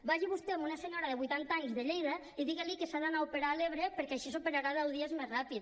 vagi vostè a una senyora de vuitanta anys de lleida i digui li que s’ha d’anar a operar a l’ebre perquè així s’operarà deu dies més ràpid